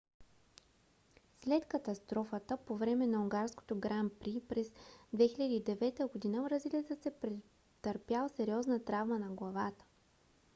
след катастрофа по време на унгарското гран при през 2009 г. бразилецът е претърпял сериозна травма на главата